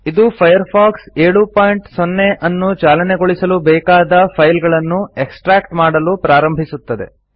ಇದು ಫೈರ್ಫಾಕ್ಸ್ 70 ಅನ್ನು ಚಾಲನೆಗೊಳಿಸಲು ಬೇಕಾದ ಫೈಲ್ಗಳನ್ನು ಎಕ್ಸ್ಟ್ರ್ಯಾಕ್ಟ್ ಮಾಡಲು ಪ್ರಾರಂಭಿಸುತ್ತದೆ